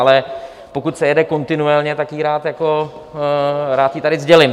Ale pokud se jede kontinuálně, tak ji rád tady sdělím.